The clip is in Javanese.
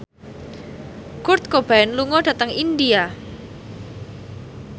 Kurt Cobain lunga dhateng India